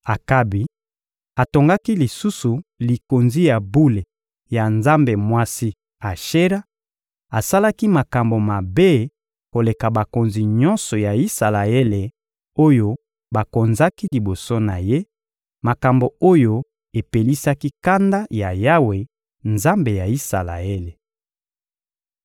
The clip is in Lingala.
Akabi atongaki lisusu likonzi ya bule ya nzambe mwasi Ashera; asalaki makambo mabe koleka bakonzi nyonso ya Isalaele oyo bakonzaki liboso na ye, makambo oyo epelisaki kanda ya Yawe, Nzambe ya Isalaele.